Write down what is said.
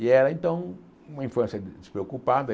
E era, então, uma infância despreocupada e.